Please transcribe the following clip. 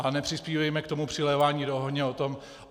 Ale nepřispívejme k tomu přilévání do ohně o tom...